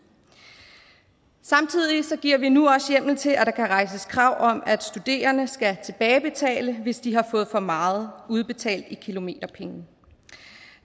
samtidig giver vi nu også hjemmel til at der kan rejses krav om at studerende skal tilbagebetale hvis de har fået for meget udbetalt i kilometerpenge